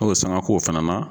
N'o ye sanŋa k'o fana na